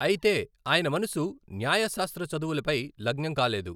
అయితే, ఆయన మనసు న్యాయశాస్త్ర చదువులపై లగ్నం కాలేదు.